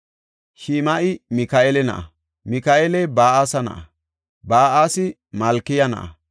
Shim7i Mika7eela na7a; Mika7eeli Ba7asaya na7a; Ba7aasi Malkiya na7a;